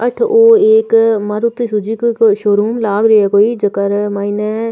अठ ओ एक मारुती सुजुकी के शोरूम लाग रो है कोई जेका र माइन --